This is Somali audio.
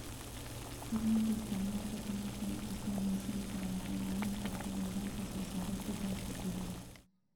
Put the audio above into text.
Kordhinta isticmaalka tamarta la cusboonaysiin karo waxay caawin kartaa yareynta soo saarista gaaska guri.